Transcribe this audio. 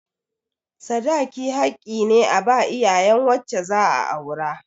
Sadaki haƙƙi ne a ba iyayen wacce za a aura.